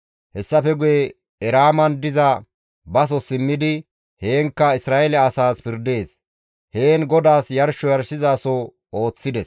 Hessafe guye Eraaman diza baso simmidi heenkka Isra7eele asaas pirdees; heen GODAAS yarsho yarshizaso ooththides.